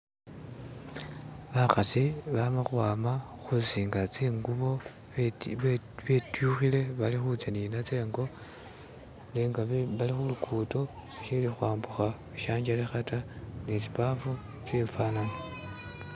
Bakhasi bama khwama khusinga tsingubo betyukhile balikhu tsa ninatso ingo nenga bali khulugudo bashili khwambukha shanjelekha ta ni tsibafu tsifanana